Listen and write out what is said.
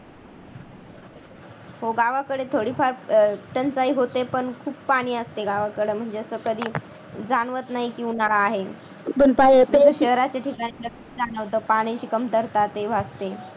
हो गावाकडे थोडीफार अह टंचाई होते पण खूप पाणी असते गावाकड म्हणजे असं कधी जाणवत नाही की उन्हाळा आहे नाहीतर शहराच्या ठिकाणी नक्कीच जाणवतं ची कमतरता भासते.